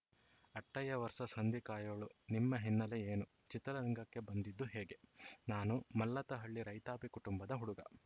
Attayya versus ಹಂದಿ ಕಾಯೋಳು ನಿಮ್ಮ ಹಿನ್ನೆಲೆ ಏನು ಚಿತ್ರರಂಗಕ್ಕೆ ಬಂದಿದ್ದು ಹೇಗೆ ನಾನು ಮಲ್ಲತ್ತಹಳ್ಳಿ ರೈತಾಪಿ ಕುಟುಂಬದ ಹುಡುಗ